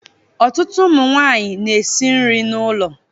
Ọtụtụ ụmụ nwanyị na-esi nri n'ụlọ